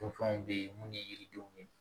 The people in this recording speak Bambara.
Don fɛnw bɛ ye mun ni yiridenw ye